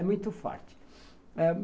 É muito forte.